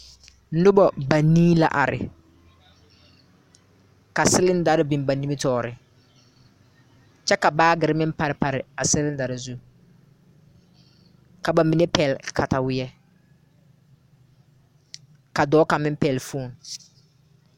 Noba banii la are, ka cylindare beŋ ba nimitɔre, kyɛ ka baagiri meŋ pare pare a cylindare zu, ka bamine pɛgle kataweɛ, ka dɔɔ kaŋa meŋ pɛgle phone